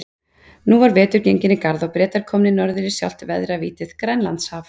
Nú var vetur genginn í garð og Bretar komnir norður í sjálft veðravítið, Grænlandshaf.